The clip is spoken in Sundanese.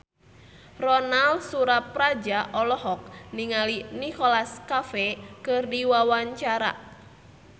Ronal Surapradja olohok ningali Nicholas Cafe keur diwawancara